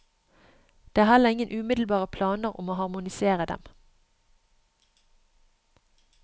Det er heller ingen umiddelbare planer om å harmonisere dem.